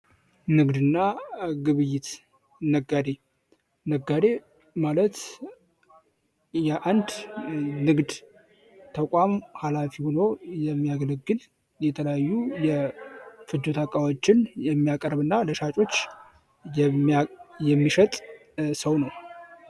ንግድ እና ግብይት ነጋዴ ነጋዴ ማለት የአንድ ንግድ ተቋም ሃላፊ ሆኖ የሚያገለግል የተለያዩ የፍጆታ እቃዎችን የሚያቀርብ እና ለሻጮች የሚሸጥ ሰው ነው።